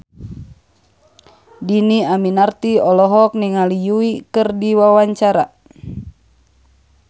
Dhini Aminarti olohok ningali Yui keur diwawancara